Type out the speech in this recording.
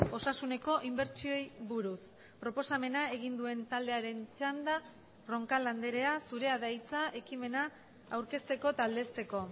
osasuneko inbertsioei buruz proposamena egin duen taldearen txanda roncal andrea zurea da hitza ekimena aurkezteko eta aldezteko